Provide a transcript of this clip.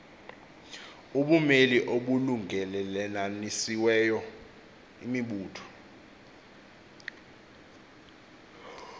ubumeli obulungelelanisiweyo imibutho